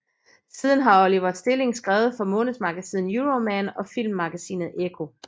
Siden har Oliver Stilling skrevet for månedsmagasinet Euroman og Filmmagasinet Ekko